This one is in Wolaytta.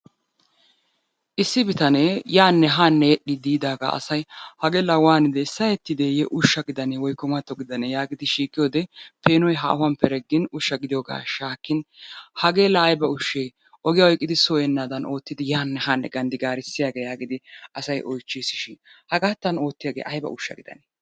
Issi bitanee yaanne haanne yedhdhiiddi yiidaagaa asay hagee laa waanide sahettidee ushsha gidanee woyikko matto gidanee yaagidi shiiqiyode peenoy haahuwan pereggin ushsha gidiyoogaa shaakkin hagee laa ayiba ushshee ogiya oyiqqidi soo yeennaadan oottidi yaanne haanne ganddigaarisdiyagee yaagidi asay oyichchiisishin hagaattan oottiyagee ayiba ushsha gidanee?